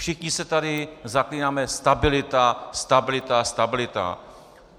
Všichni se tady zaklínáme - stabilita, stabilita, stabilita.